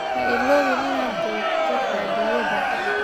Ha iloobin inaad duubto fadhiyada.